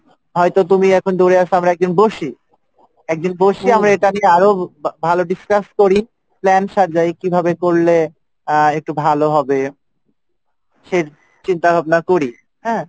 তুমি আর আমি মিলে যদি একদিন বসি একদিন বসে আমরা এটা নিয়ে আলোচনা ভালো discuss করি কি করলে এটা হবে সেই চন্তাভাবনা করি হ্যাঁ?